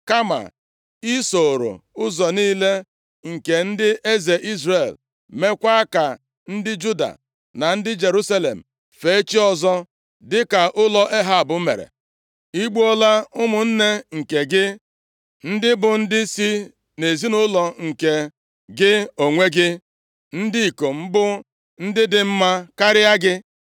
kama ị sooro ụzọ niile nke ndị eze Izrel, meekwa ka ndị Juda na ndị Jerusalem fee chi ọzọ, dịka ụlọ Ehab mere. Ị gbuola ụmụnne nke gị, ndị bụ ndị si nʼezinaụlọ nke gị onwe gị, ndị ikom bụ ndị dị mma karịa gị.